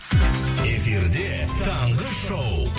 эфирде таңғы шоу